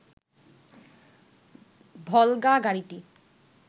ভলগা গাড়িটি